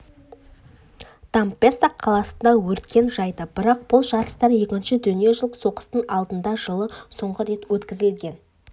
дампеццо қаласында өркен жайды бірақ бұл жарыстар екінші дүниежүзілік соғыстың алдында жылы соңғы рет өткізілгеннен